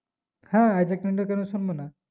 হ্যাঁ isaac newton কেন শুনবো না